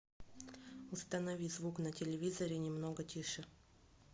установи звук на телевизоре немного тише